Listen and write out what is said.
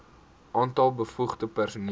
aantal bevoegde personeel